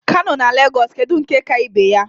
Kano na Lagos kedu nke ka ibe ya?